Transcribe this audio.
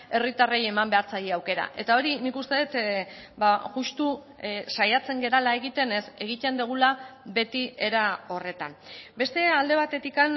herritarrei eman behar zaie aukera eta hori nik uste dut justu saiatzen garela egiten ez egiten dugula beti era horretan beste alde batetik